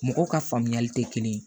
Mɔgɔw ka faamuyali tɛ kelen ye